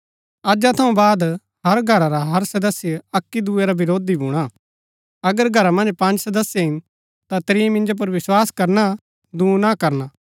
अजा थऊँ बाद हर घरा रा हर सदस्य अक्की दुऐ रा वरोधी भूणा अगर घरा मन्ज पँज सदस्य हिन ता त्रीं मिन्जो पुर विस्वास करना दूँ ना करना